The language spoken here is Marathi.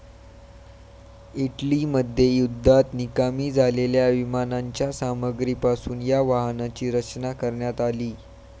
इटलीमध्ये युद्धात निकामी झालेल्या विमानांच्या सामग्रीपासून या वाहनाची रचना करण्यात आली.